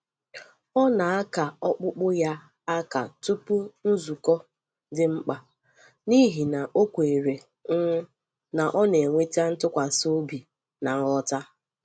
Ọ na-aka okpukpu ya aka tupu nzukọ dị mkpa, n’ihi na ọ kwèrè um na ọ na-eweta ntụkwàsị obi na nghọta.